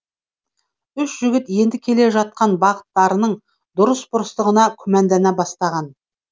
үш жігіт енді келе жатқан бағыттарының дұрыс бұрыстығына күмәндана бастаған